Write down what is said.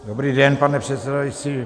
Dobrý den, pane předsedající.